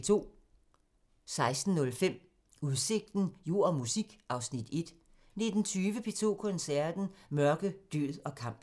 16:05: Udsigten – Jord og musik (Afs. 1) 19:20: P2 Koncerten – Mørke, død og kamp